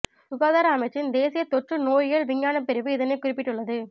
சுகாதார அமைச்சின் தேசிய தொற்று நோயியல் விஞ்ஞானப் பிரிவு இதனை குறிப்பிட்டுள்ளது